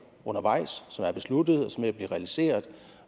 undervejs som er besluttet og som er ved at blive realiseret